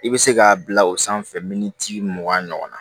I bɛ se k'a bila o sanfɛ miniti mugan ɲɔgɔnna